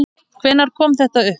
Hvenær kom þetta upp?